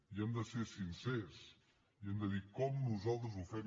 i hem de ser sincers i hem de dir com nosaltres ho fem